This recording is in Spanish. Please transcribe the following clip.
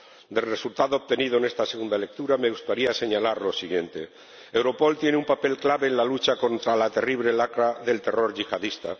Del resultado obtenido en esta segunda lectura me gustaría señalar lo siguiente Europol tiene un papel clave en la lucha contra la terrible lacra del terror yihadista.